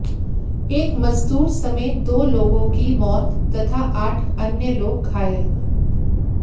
एक मजदूर समेत दो लोगों की मौत तथा आठ अन्य लोग घायल